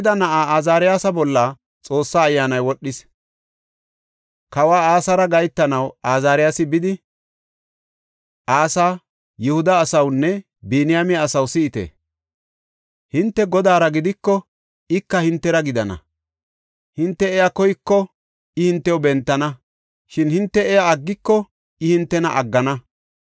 Kawa Asara gahetanaw Azaariyasi bidi, “Asa, Yihuda asawnne Biniyaame asaw si7ite! Hinte Godaara gidiko ika hintera gidana. Hinte iya koyiko I hintew bentana; shin hinte iya aggiko I hintena aggana.